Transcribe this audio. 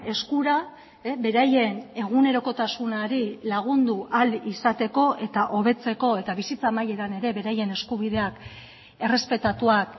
eskura beraien egunerokotasunari lagundu ahal izateko eta hobetzeko eta bizitza amaieran ere beraien eskubideak errespetatuak